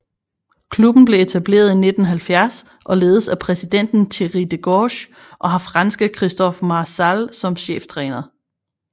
Klubben blev etableret i 1970 og ledes af præsidenten Thierry Degorce og har franske Christophe Maréchal som cheftræner